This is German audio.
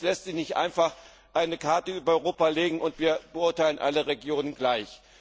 Es lässt sich nicht einfach eine Karte über Europa legen und wir beurteilen alle Regionen gleich.